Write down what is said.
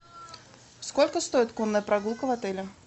сколько стоит конная прогулка в отеле